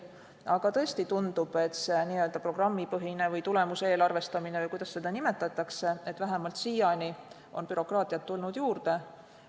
Aga tõesti tundub, et see n-ö programmipõhine või tulemuseelarvestamine on vähemalt siiani toonud bürokraatiat juurde.